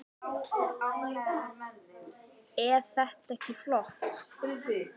Eð þetta ekki flott?